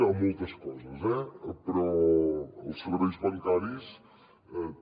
a moltes coses eh però als serveis bancaris també